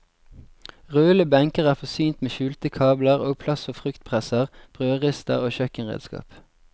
Rullende benker er forsynt med skjulte kabler og plass for fruktpresser, brødrister og kjøkkenredskap.